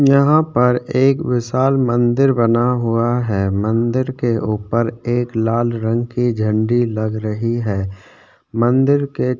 यहाँ पर एक विशाल मंदिर बना हुआ है मंदिर के ऊपर एक लाल रंग के झंडे लग रही है मंदिर के --